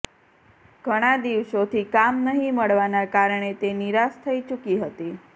ઘણા દિવસોથી કામ નહી મળવાનાં કારણે તે નિરાશ થઇ ચુકી હતી